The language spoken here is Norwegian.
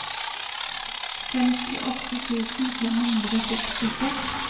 femtiåtte tusen fem hundre og sekstiseks